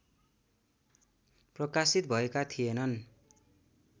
प्रकाशित भएका थिएनन्